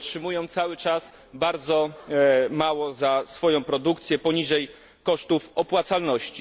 Oni otrzymują cały czas bardzo mało za swoją produkcję, poniżej kosztów opłacalności.